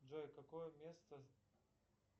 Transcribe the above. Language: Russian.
джой какое место